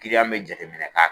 Kiliyan be jateminɛ k'a